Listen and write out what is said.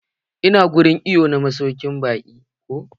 Ina wurin iwo na masaukin baki.